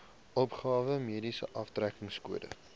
opgawe mediese aftrekkingskode